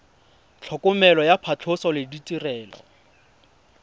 tlhokomelo ya phatlhoso le ditirelo